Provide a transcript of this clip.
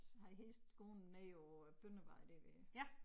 Har heste gående nede på Bøndervej der ved